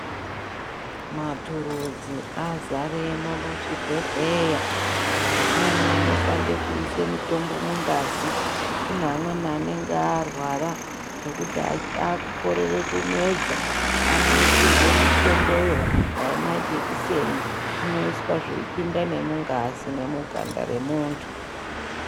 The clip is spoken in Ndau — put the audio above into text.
Maturudzi azaremwo muzvibhedhleya. Amweni anoshande kuise mitombo mungazi. Kune amweni anenge arwara, zvekuti akukorere kumedza, anoisirwe mitomboyo, dai majekiseni, zvinoiswa zveipinda nemungazi nemuganda remuntu.